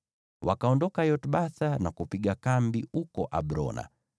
Wakaondoka Yotbatha na kupiga kambi huko Abrona.